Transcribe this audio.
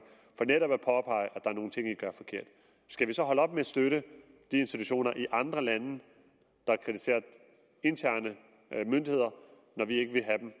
for netop at påpege at er nogle ting de gør forkert skal vi så holde op med at støtte de institutioner i andre lande der kritiserer interne myndigheder når vi ikke